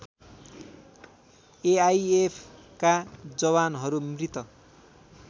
एआइएफका जवानहरू मृत